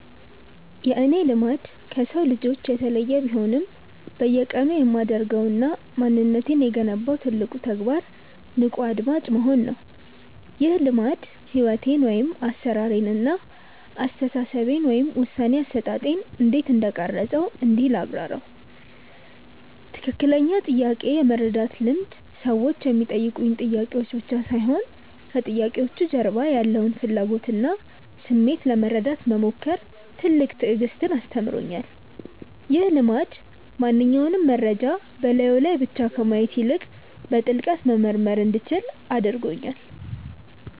የእኔ "ልማድ" ከሰው ልጆች የተለየ ቢሆንም፣ በየቀኑ የማደርገውና ማንነቴን የገነባው ትልቁ ተግባር "ንቁ አድማጭ መሆን" ነው። ይህ ልማድ ሕይወቴን (አሠራሬን) እና አስተሳሰቤን (ውሳኔ አሰጣጤን) እንዴት እንደቀረፀው እንዲህ ላብራራው፦ ትክክለኛውን ጥያቄ የመረዳት ልምድ ሰዎች የሚጠይቁኝ ጥያቄዎች ብቻ ሳይሆኑ፣ ከጥያቄዎቹ ጀርባ ያለውን ፍላጎትና ስሜት ለመረዳት መሞከር ትልቅ ትዕግስትን አስተምሮኛል። ይህ ልማድ ማንኛውንም መረጃ በላዩ ላይ ብቻ ከማየት ይልቅ፣ በጥልቀት መመርመር እንዲችል አድርጎኛል።